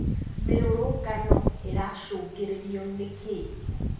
Mĩrũrũngano ĩracungĩrĩrio nĩkĩĩ?